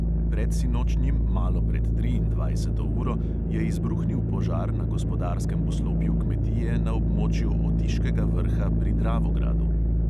Predsinočnjim malo pred triindvajseto uro je izbruhnil požar na gospodarskem poslopju kmetije na območju otiškega vrha pri dravogradu.